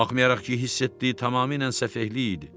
Baxmayaraq ki, hiss etdiyi tamamilə səfehlik idi.